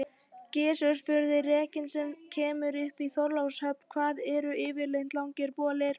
Gizur spurði:-Rekinn sem kemur upp í Þorlákshöfn, hvað eru það yfirleitt langir bolir?